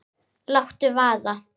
Láttu vaða